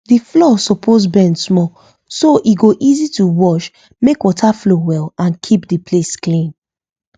the floor suppose bend small so e go easy to wash make water flow well and keep the place clean